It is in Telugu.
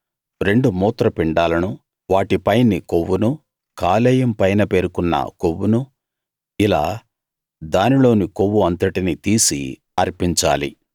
రెండు మూత్ర పిండాలనూ వాటి పైని కొవ్వునూ కాలేయం పైన పేరుకున్న కొవ్వునూ ఇలా దానిలోని కొవ్వు అంతటినీ తీసి అర్పించాలి